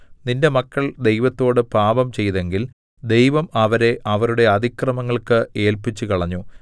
നിന്റെ മക്കൾ ദൈവത്തോട് പാപം ചെയ്തെങ്കിൽ ദൈവം അവരെ അവരുടെ അതിക്രമങ്ങൾക്ക് ഏല്പിച്ചുകളഞ്ഞു